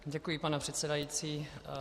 Děkuji, pane předsedající.